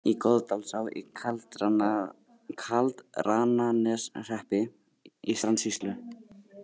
Í Goðdalsá í Kaldrananeshreppi í Strandasýslu.